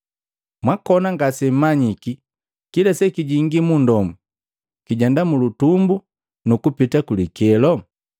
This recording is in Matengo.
Mwakona ngasemmanyiki kila sekijingi mundomu kijenda mulutumbu nukupiti kulikelo?